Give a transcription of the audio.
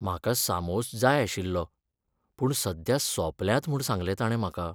म्हाका सामोस जाय आशिल्लो, पूण सद्या सोंपल्यात म्हूण सांगलें ताणें म्हाका.